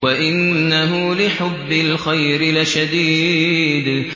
وَإِنَّهُ لِحُبِّ الْخَيْرِ لَشَدِيدٌ